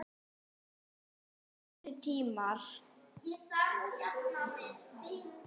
Það koma betri tímar.